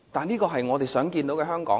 這是我們想看到的香港嗎？